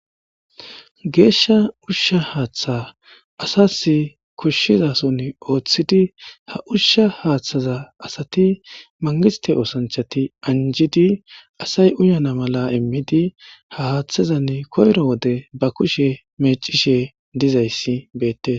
Geeshsha uushsha haaththa asazii koshshezason Ooththidi asas uushsha haaththaza astti mangistte oosanchchatti injidi asay uuyana mala iimidii ha haaththezan koyro wode ba kushshe meccishe dizayssi beettes